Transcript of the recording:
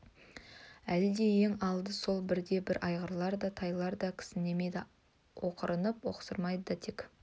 әлі де ең алды сол бірде-бір айғырлар да тайлар да кісінемейді оқыранып осқырмайды да тек